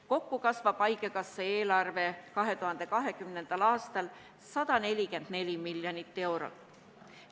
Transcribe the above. Kokku kasvab haigekassa eelarve 2020. aastal 144 miljonit eurot.